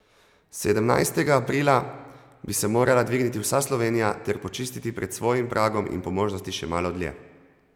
Sedemnajstega aprila bi se morala dvigniti vsa Slovenija ter počistiti pred svojim pragom in po možnosti še malo dlje.